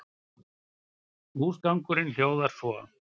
Húsgangurinn hljóðar svo